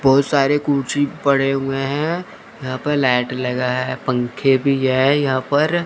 बहुत सारे कूंची पड़े हुए हैं यहां पर लाइट लगा है पंखे भी है यहां पर--